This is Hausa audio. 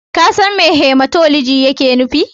Ka san me Hematoloji yake nufi?